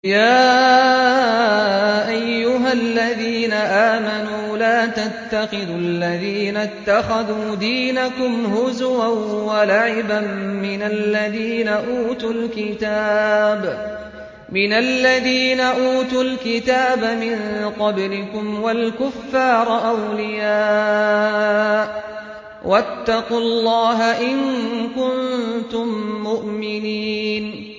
يَا أَيُّهَا الَّذِينَ آمَنُوا لَا تَتَّخِذُوا الَّذِينَ اتَّخَذُوا دِينَكُمْ هُزُوًا وَلَعِبًا مِّنَ الَّذِينَ أُوتُوا الْكِتَابَ مِن قَبْلِكُمْ وَالْكُفَّارَ أَوْلِيَاءَ ۚ وَاتَّقُوا اللَّهَ إِن كُنتُم مُّؤْمِنِينَ